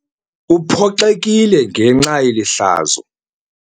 Uphoxekile ngenxa yeli hlazo.